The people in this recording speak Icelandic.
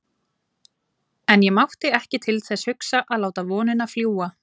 En ég mátti ekki til þess hugsa að láta vonina fljúga.